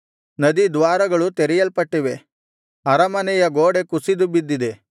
ನದಿ ದ್ವಾರಗಳು ತೆರೆಯಲ್ಪಟ್ಟಿವೆ ಅರಮನೆಯ ಗೋಡೆ ಕುಸಿದುಬಿದ್ದಿದೆ